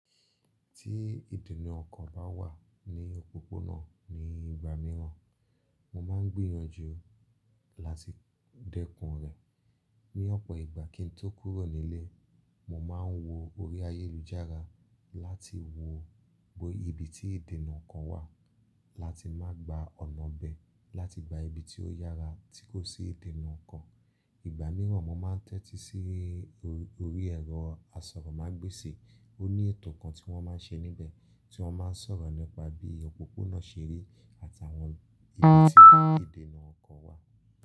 Tí ìdènà ọkọ̀ bá wà ní òpópónà ní ìgbà mìíràn, mo máa ń gbìyànjú láti dẹ́kun rẹ̀. Ni ọ̀pọ̀ ìgbà kín n tó kúrò nílé, mo máa ń wo orí ayélujára láti wo ibi tí ìdènà ọkọ̀ wà láti má gba ọ̀nà bẹ́, láti gba ibi tí ó yára tí kò sí ìdènà ọkọ̀. Ìgbà mìíràn mo máa ń tẹ́tí sí orí ẹ̀rọ asọ̀rọ̀mágbèsì, ó ní ètò kan tí wọ́n máa ń ṣe níbẹ̀ tí wọ́n máa ń sọ̀rọ̀ nípa bí òpópónà ṣe rí àtàwọn ibi tí ìdènà ọkọ̀ wà.